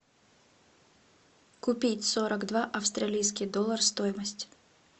купить сорок два австралийский доллар стоимость